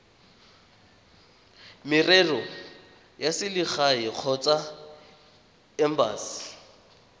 merero ya selegae kgotsa embasi